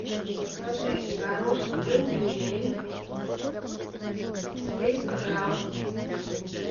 закажи горошек бондюэль четыреста грамм